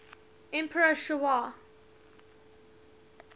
emperor sh wa